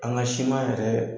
An ka siman tɛ